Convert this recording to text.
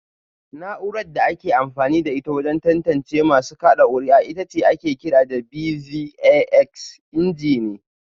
Na’urar da ake amfani da ita wajen tantance masu kada kuri’a ita ake kira BVAS ingeni